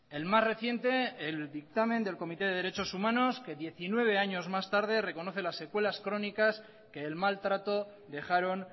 el más reciente el dictamen del comité de derechos humanos que diecinueve años más tarde reconoce las secuelas crónicas que el mal trato dejaron